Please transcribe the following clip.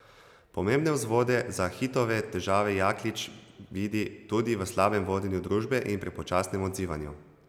Pomembne vzvode za Hitove težave Jaklič vidi tudi v slabem vodenju družbe in prepočasnem odzivanju.